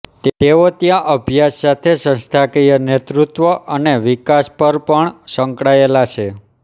તેઓ ત્યાં અભ્યાસ સાથે સંસ્થાકીય નેતૃત્વ અને વિકાસ પર પણ સંકળાયેલા છે